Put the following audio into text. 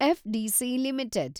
FDC limited